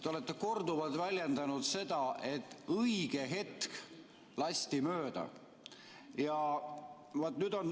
Te olete korduvalt väljendanud, et õige hetk lasti mööda.